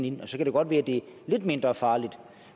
ind og så kan det godt være at det er lidt mindre farligt